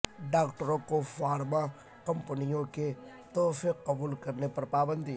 ڈاکٹروں کو فارما کمپنیوں کے تحفے قبول کرنے پر پابندی